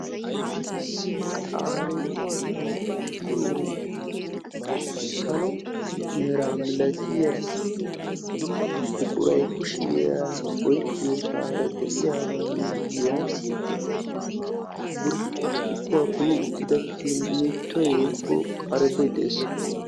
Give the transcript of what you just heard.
Issi qaaribuwaa duuqqiyo salo mera milatiyaa buquray kushiyan oykkiyoosaara de"iyaagaa miyiyan burccukuwa kumi uttida kinnittoy woykko qaariiboy de'ees.